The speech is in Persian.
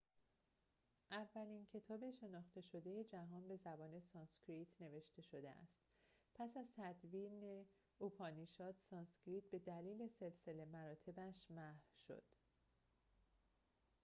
اولین کتاب شناخته شده جهان به زبان سانسکریت نوشته شده است پس از تدوین اوپانیشاد سانسکریت به‌دلیل سلسله مراتبش محو شد